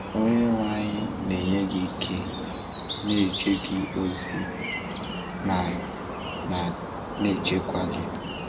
Onyenwe anyị na-enye gị ike, na-eje gị ozi, ma ma na-echekwa gị.